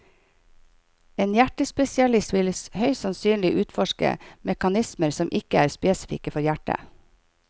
En hjertespesialist vil høyst sannsynlig utforske mekanismer som ikke er spesifikke for hjertet.